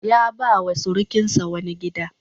Ya ba wa surukinsa wani gida.